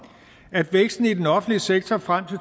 at væksten i den offentlige sektor frem til